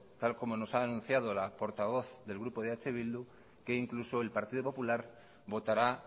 tal y como nos ha anunciado la portavoz del grupo de eh bildu que incluso el partido popular votará